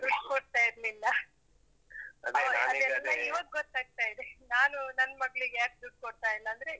ದುಡ್ ಕೊಡ್ತಾ ಇರ್ಲಿಲ್ಲ. ಇವಾಗ್ ಗೊತ್ತಾಗ್ತಾ ಇದೆ. ನಾನು, ನನ್ ಮಗ್ಳಿಗೆ ಯಾಕ್ ದುಡ್ಡು ಕೊಡ್ತಾ ಇಲ್ಲಾಂದ್ರೆ.